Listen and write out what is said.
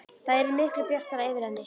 Það yrði miklu bjartara yfir henni.